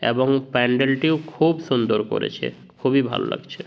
এবং প্যান্ডেল টিও খুব সুন্দর করেছে। খুবই ভালো লাগছে।